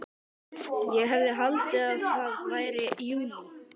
Ég hefði haldið að það væri júlí.